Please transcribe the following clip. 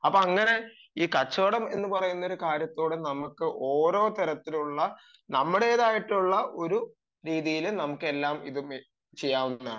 അങ്ങനെ ഈ കച്ചവടം എന്ന് പറയുന്ന ഒരു കാര്യത്തോട് ഓരോ കാര്യത്തിലുള്ള നമ്മുടേതായിട്ടുമുള്ള ഒരു രീതിയിലും നമുക്ക് ഇതെല്ലാം ചെയ്യാവുന്നതാണ്